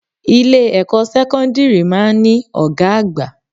Ilé ẹ̀kọ́ sẹ́kọ́ńdírì máa ń ní Ọ̀gá àgbà.